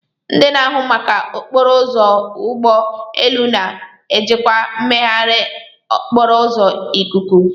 Ndị na-ahụ maka okporo ụzọ ụgbọ elu na-ejikwa mmegharị okporo ụzọ ikuku.